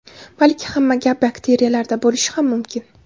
Balki hamma gap bakteriyalarda bo‘lishi ham mumkin.